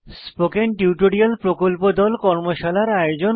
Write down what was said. spoken tutorial প্রকল্প দল কর্মশালার আয়োজন করে